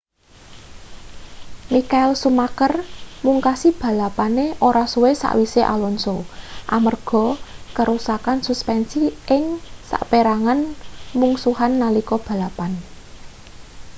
michael schumacher mungkasi balapane ora suwe sawise alonso amarga karusakan suspensi ing saperangan mungsuhan nalika balapan